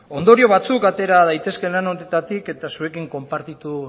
ondorio batzuk atera daitezke lan honetatik eta zuekin konpartitu